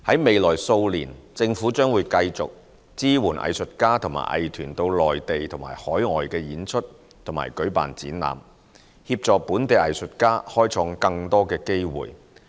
未來數年，政府將繼續支援藝術家和藝團到內地和海外演出及舉辦展覽，協助本地藝術家開創更多機會。